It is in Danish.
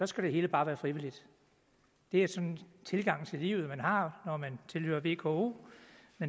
skal det hele bare være frivilligt det er den tilgang til livet man har når man tilhører vko